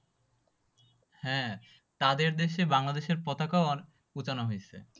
হ্যাঁ তাদের দেশে বাংলাদেশের পতাকাও উঠানো হয়েছে।